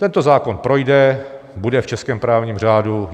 Tento zákon projde, bude v českém právním řádu.